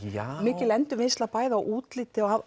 mikil endurvinnsla bæði á útliti og